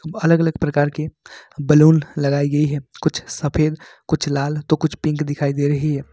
अलग अलग प्रकार के बैलून लगाई गई है कुछ सफेद कुछ लाल तो कुछ पिंक दिखाई दे रही है।